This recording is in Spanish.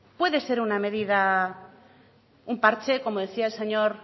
puede ser una medida un parche como decía el señor